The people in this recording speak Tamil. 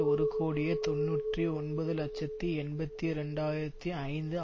ஒரு கோடியே தொன்னூற்றி ஒன்பது இலட்சத்தி எண்பத்தி இரண்டு ஆயிரத்தி ஐந்து